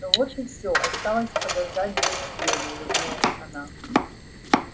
ну вот и всё осталось подождать две недели улыбнулась она